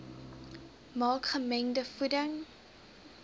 maak gemengde voeding